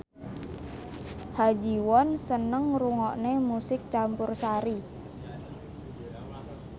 Ha Ji Won seneng ngrungokne musik campursari